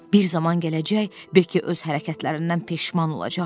Bir zaman gələcək, Bekki öz hərəkətlərindən peşman olacaq.